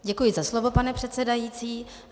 Děkuji za slovo, pane předsedající.